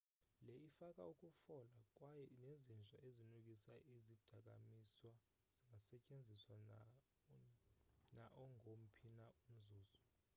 le ifaka ukufola kwaye nezinja-ezinukisa izidakamiswa zingasetyenziswa naongomphi na umzuzu